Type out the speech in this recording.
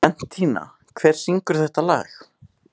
Bentína, hver syngur þetta lag?